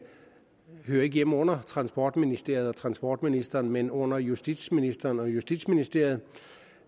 hører hjemme under transportministeriet og transportministeren men under justitsministeren og justitsministeriet